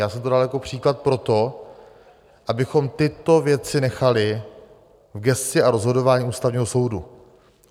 Já jsem to dal jako příklad proto, abychom tyto věci nechali v gesci a rozhodování Ústavního soudu.